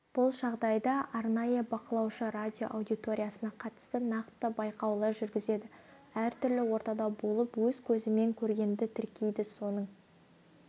бұл жағдайда арнайы бақылаушы радио аудиториясына қатысты нақты байқаулар жүргізеді әртүрлі ортада болып өз көзімен көргенді тіркейді соның